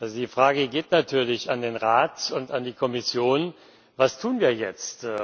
Die Frage geht natürlich an den Rat und an die Kommission Was tun wir jetzt?